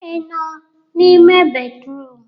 Ị nọ n'ime bédrụum?